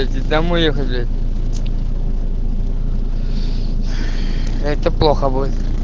иди домой ехай блять это плохо будет